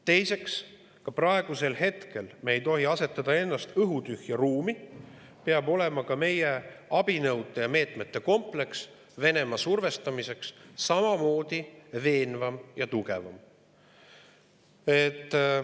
Teiseks, praegusel hetkel ei tohi meie asetada ennast nii-öelda õhutühja ruumi, vaid meie abinõude ja meetmete kompleks Venemaa survestamiseks peab olema veenvam ja tugevam.